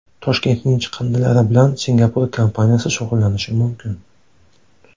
Toshkentning chiqindilari bilan Singapur kompaniyasi shug‘ullanishi mumkin .